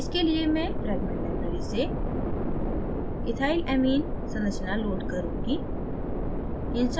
इसके लिए मैं fragment library से ethylamine संरचना load करुँगी